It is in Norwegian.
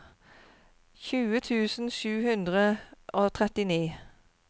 tjue tusen sju hundre og trettini